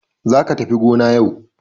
Za ka tafi gona yau!